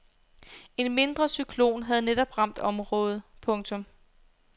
En mindre cyklon havde netop ramt området. punktum